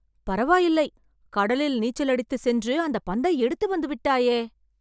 பரவாயில்லை கடலில் நீச்சல் அடித்து சென்று அந்த பந்தை எடுத்து வந்து விட்டாயே